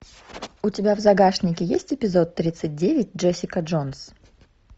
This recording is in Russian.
у тебя в загашнике есть эпизод тридцать девять джессика джонс